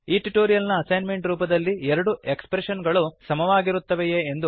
ಈ ಟ್ಯುಟೋರಿಯಲ್ ನ ಅಸೈನ್ಮೆಂಟ್ ರೂಪದಲ್ಲಿ ಎರಡು ಎಕ್ಸ್ಪ್ರೆಷನ್ ಗಳು ಸಮವಾಗಿರುತ್ತವೆಯೇ